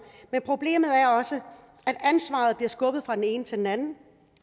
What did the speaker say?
men problemet er også at ansvaret bliver skubbet fra den ene til den anden